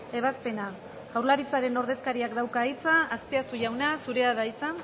ebazpena jaurlaritzaren ordezkariak dauka hitza azpiazu jauna zurea da hitza